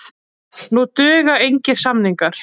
Nú duga engir samningar.